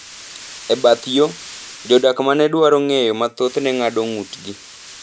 E bath yo, jodak ma ne dwaro ng’eyo mathoth ne ng’ado ng’utgi